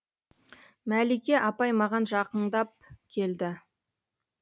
мәлике апай маған жақыңдап келді